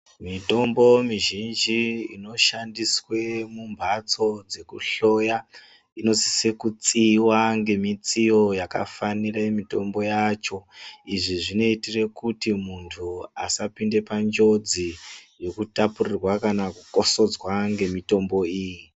Mitombo mizhinji inoshandiswe mumbasto dzekuhloya inosise kutsiiwa ngemitsiyo yakafanire mitombo yacho. Izvi zvinoitire kuti muntu asapinde panjodzi yekutapurirwa kana kukosodzwa ngemitombo iyi.